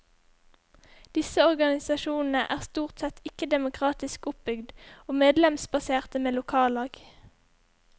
Disse organisasjonene er stort sett ikke demokratisk oppbygd og medlemsbaserte med lokallag.